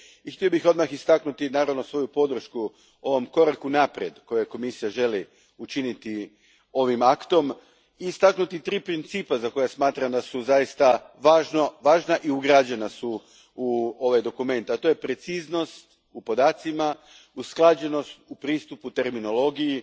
I naravno, htio bih odmah istaknuti svoju podršku ovom koraku naprijed, koji Komisija želi učiniti ovim aktom te istaknuti tri principa za koja smatram da su zaista važna i ugrađena u ovaj dokument, a to su preciznost u podacima, usklađenost u pristupu terminologiji,